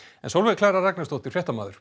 Sólveig Klara Ragnarsdóttir fréttamaður